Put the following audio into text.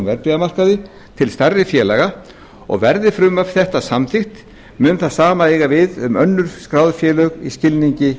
verðbréfamarkaði til stærri félaga og verði frumvarp þetta samþykkt mun það sama eiga við um önnur skráð félög í skilningi